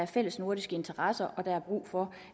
fælles nordisk interesse og der er brug for